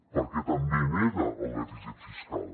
perquè també nega el dèficit fiscal